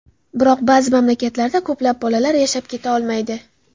Biroq ba’zi mamlakatlarda ko‘plab bolalar yashab keta olmaydi.